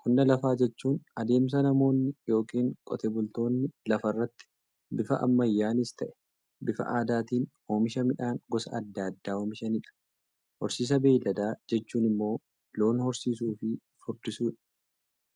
Qonna lafaa jechuun adeemsa namoonni yookiin Qotee bultoonni lafarraatti bifa ammayyanis ta'ee, bifa aadaatiin oomisha midhaan gosa adda addaa oomishaniidha. Horsiisa beeyladaa jechuun immoo loon horsiisuufi furdisuudha.